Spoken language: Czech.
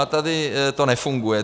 A tady to nefunguje.